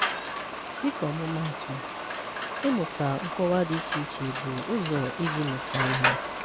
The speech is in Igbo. Dịka ọmụmaatụ, ịmụta nkọwa dị iche iche bụ ụzọ iji mụta ihe.